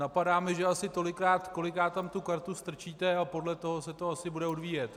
Napadá mě, že asi tolikrát, kolikrát tam tu kartu strčíte, a podle toho se to asi bude odvíjet.